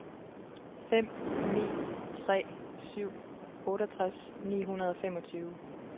fem ni tre syv otteogtres ni hundrede og femogtyve